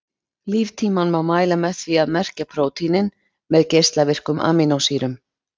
líftímann má mæla með því að merkja prótínin með geislavirkum amínósýrum